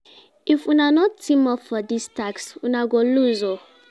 If una no team-up for dis task, una go loose o.